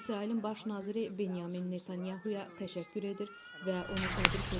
İsrailin baş naziri Benyamin Netanyahaya təşəkkür edir və onu təbrik edirəm.